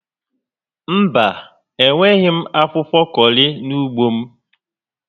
Mba, enweghi m akwụkwọ kọrị n'ugbo m